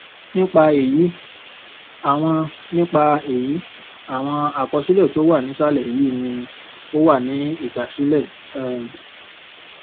nípa èyí àwọn nípa èyí àwọn àkọsílè tó wà nísàlè yìí ni ó wà ní ìgbàsílẹ um